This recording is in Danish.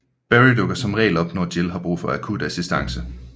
Barry dukker som regel op nå Jill har brug for akut assistance